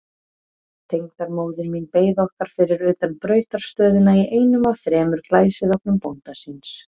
Tengdamóðir mín beið okkar fyrir utan brautarstöðina í einum af þremur glæsivögnum bónda síns.